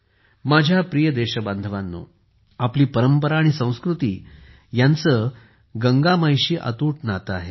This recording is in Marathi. माझ्या प्रिय देशबांधवांनो आपली परंपरा आणि संस्कृती यांचे गंगेशी अतूट नाते आहे